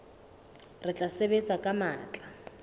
re tla sebetsa ka matla